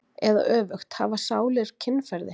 Eða öfugt: hafa sálir kynferði?